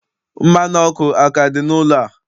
Mmanụ ọkụ aka dị n'ụlọ a?